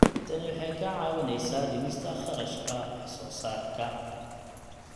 Tani waxay kaa caawinaysaa dhimista kharashka wax soo saarka.